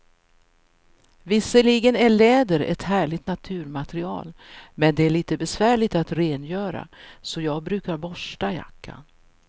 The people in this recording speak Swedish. Visserligen är läder ett härligt naturmaterial, men det är lite besvärligt att rengöra, så jag brukar borsta jackan.